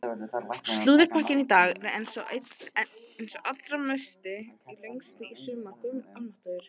Slúðurpakkinn í dag er einn sá allra lengsti í sumar.